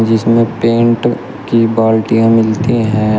जिसमें पेंट की बाल्टियां मिलती है।